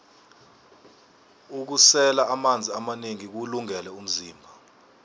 ukusela amanzi amanengi kuwulungele umzimba